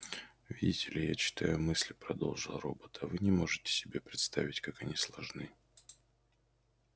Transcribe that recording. видите ли я читаю мысли продолжал робот а вы не можете себе представить как они сложны